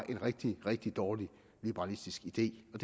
en rigtig rigtig dårlig liberalistisk idé og